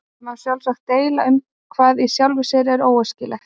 Það má sjálfsagt deila um hvað í sjálfu sér er óæskilegt.